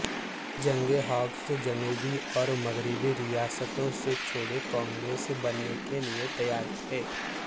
جنگ ہاکز جنوبی اور مغربی ریاستوں سے چھوٹے کانگریس بننے کے لئے تیار تھے